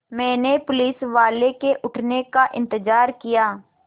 मैंने पुलिसवाले के उठने का इन्तज़ार किया